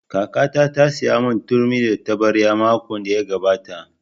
Kakata ta saya mun turmi da taɓarya makon da ya gabata